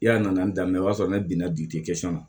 Yala nana daminɛ o b'a sɔrɔ ne binna